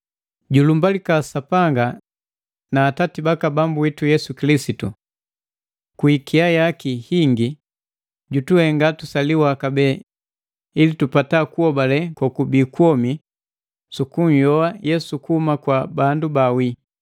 Julumbalika Sapanga na Atati baka Bambu witu Yesu Kilisitu! Kwi ikia yaki hingi jutuhenga tusaliwa kabee ili tupata kuhobale kokubii kwomi su kunhyoa Yesu kuhuma kwa bandu baawii,